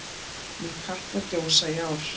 Mun Katla gjósa í ár?